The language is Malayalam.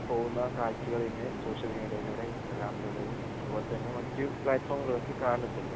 ഇല്ലാതെ പോകൂന്ന കാഴ്ചകൾ ഇന്ന് സോഷ്യൽ മീഡിയകളിലൂടെയും ഇൻസ്റ്റാഗ്രാമിലൂടെയും അതുപോലെ തന്നെ മറ്റ് പ്ലാറ്റ്‌ഫോം